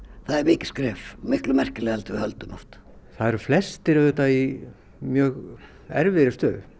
það er mikið skref miklu merkilegra en við höldum oft það eru flestir auðvitað í mjög erfiðri stöðu